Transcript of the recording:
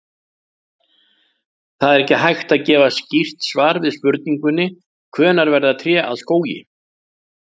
Það er ekki hægt að gefa skýrt svar við spurningunni hvenær verða tré að skógi.